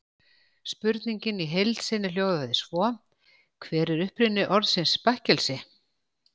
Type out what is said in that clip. Spurningin í heild sinni hljóðaði svo: Hver er uppruni orðsins bakkelsi?